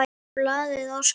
Blaðið óskar